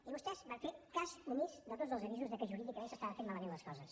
i vostès van fer cas omís de tots els avisos que jurídicament s’estaven fent malament les coses